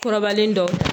Kɔrɔbalen dɔw